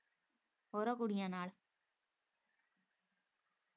ਹੋਰਾਂ ਕੁੜੀਆਂ ਨਾਲ਼।